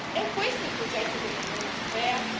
È questo il progetto dell'Unione europea?